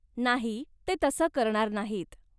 नाही, ते तसं करणार नाहीत.